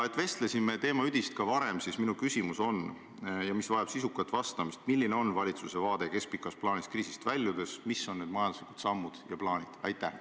Et vestlesime teema üdist ka varem, siis minu küsimus, mis vajab sisukat vastamist, on see: milline on valitsuse vaade keskpikas plaanis kriisist väljudes, mis on need majanduslikud sammud ja plaanid?